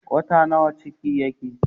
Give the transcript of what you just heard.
Wata nawa ciki yake?